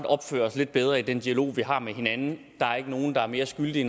opføre os lidt bedre i den dialog vi har med hinanden der er ikke nogen der er mere skyldig i